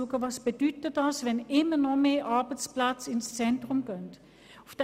Was bedeutet es, wenn die Arbeitsplätze immer mehr ins Zentrum verlegt werden?